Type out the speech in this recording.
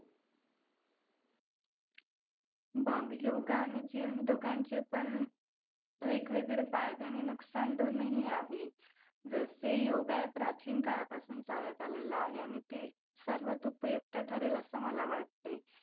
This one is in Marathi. बघ योगा आणि gym दोघांचे पण वेगवेगळे फायदे आणि नुकसान दोन्हीही आहे. जसे योगा प्राचीन काळापासून चालत आलेला आहे आणि ते सर्वात उपयुक्त ठरेल असं मला वाटतंय.